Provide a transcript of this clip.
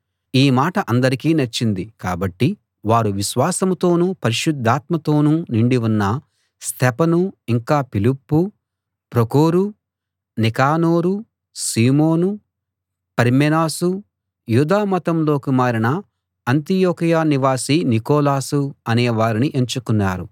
ఈ మాట అందరికీ నచ్చింది కాబట్టి వారు విశ్వాసంతోనూ పరిశుద్ధాత్మతోనూ నిండి ఉన్న స్తెఫను ఇంకా ఫిలిప్పు ప్రొకొరు నీకానోరు సీమోను పర్మెనాసు యూదామతంలోకి మారిన అంతియొకయ నివాసి నీకొలాసు అనేవారిని ఎంచుకున్నారు